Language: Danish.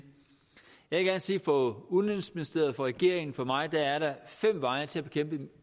jeg sige at for udenrigsministeriet for regeringen og for mig er der fem veje til at bekæmpe